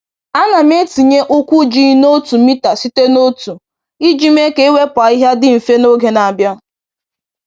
A na m etinye ụkwụ ji n’otu mita site n’otu iji mee ka iwepụ ahịhịa dị mfe n’oge na-abịa.